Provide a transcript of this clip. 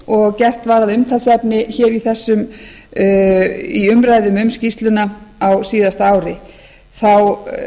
og gert var að umtalsefni hér í umræðum um skýrsluna á síðasta ári þá